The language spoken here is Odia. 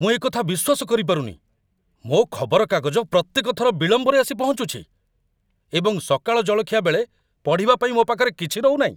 ମୁଁ ଏକଥା ବିଶ୍ୱାସ କରିପାରୁନି! ମୋ ଖବରକାଗଜ ପ୍ରତ୍ୟେକ ଥର ବିଳମ୍ବରେ ଆସି ପହଞ୍ଚୁଛି, ଏବଂ ସକାଳ ଜଳଖିଆ ବେଳେ ପଢ଼ିବା ପାଇଁ ମୋ ପାଖରେ କିଛି ରହୁନାହିଁ।